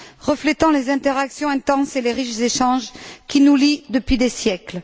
reflétant les interactions intenses et les riches échanges qui nous lient depuis des siècles.